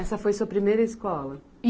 Essa foi a sua primeira escola?